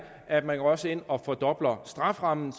at man også går ind og fordobler strafferammen